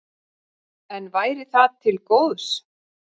En væri það til góðs?